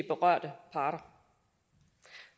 berørte parter